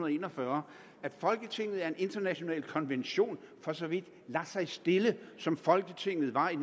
en og fyrre at folketinget af en international konvention for så vidt lader sig stille som folketinget var i